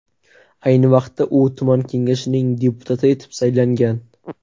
Ayni vaqtda u tuman kengashining deputati etib saylangan.